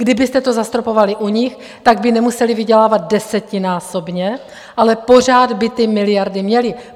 Kdybyste to zastropovali u nich, tak by nemuseli vydělávat desetinásobně, ale pořád by ty miliardy měli.